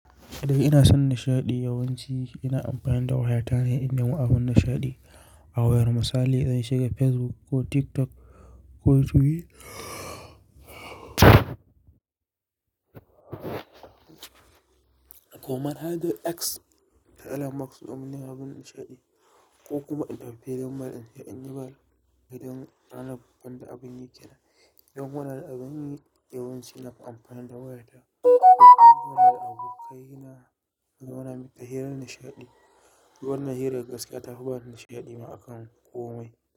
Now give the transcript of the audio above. Iɗan ina son nishaɗi, yawanci ina amfani da wayata ne in nemo abun nishaɗi a wayar. Misali zan shiga Facebook ko TikTok ko Twitter ko manhajar X ta Elon Musk domin neman abun nishaɗi ko kuma in tafi filin ball inje in yi ball idan ranar banda abun yi. Idan ina da abun yi Yawanci ina amfani da wayata don kula da abokaina mu zauna muyi ta hirar nishaɗi. Wannan hirar gaskiya tafi ba da nishaɗi ma akan komai.